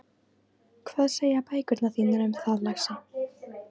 Hvað segja bækurnar þínar um það, lagsi?